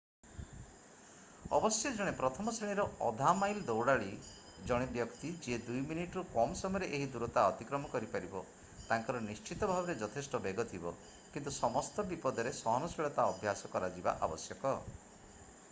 ଅବଶ୍ୟ ଜଣେ ପ୍ରଥମ ଶ୍ରେଣୀର ଅଧା-ମାଇଲ୍ ଦୌଡ଼ାଳୀ ଜଣେ ବ୍ୟକ୍ତି ଯିଏ 2 ମିନିଟରୁ କମ୍ ସମୟରେ ଏହି ଦୂରତା ଅତିକ୍ରମ କରିପାରିବ ତାଙ୍କର ନିଶ୍ଚିତ ଭାବରେ ଯଥେଷ୍ଟ ବେଗ ଥିବ କିନ୍ତୁ ସମସ୍ତ ବିପଦରେ ସହନଶୀଳତା ଅଭ୍ୟାସ କରାଯିବା ଆବଶ୍ୟକ